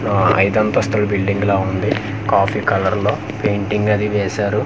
ఆ ఐదు అంతస్తుల బిల్డింగ్ ల ఉంది కాఫీ కలర్ లో పెయింటింగ్ అది వేశారు.